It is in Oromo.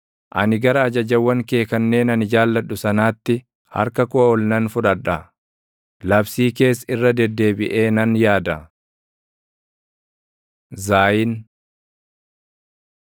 Ani gara ajajawwan kee kanneen ani jaalladhu sanaatti // harka koo ol nan fudhadha; labsii kees irra deddeebiʼee nan yaada. ז Zaayin